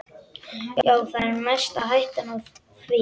Já, það er mest hættan á því.